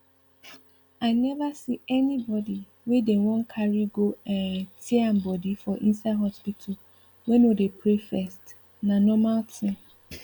i never see anybody wey dem wan carry go um tear am body for inside hospital wey no dey pray first na normal thing